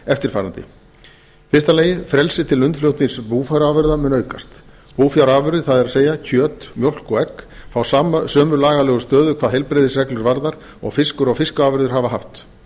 eftirfarandi í fyrsta lagi frelsi til innflutnings búfjárafurða mun aukast búfjárafurðir það er kjöt mjólk og egg fá sömu lagalegu stöðu hvað heilbrigðisreglur varðar og fiskur og fiskafurðir hafa haft